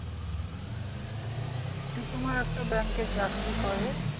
সে তোমার একটা ব্যাংকে চাকরি করে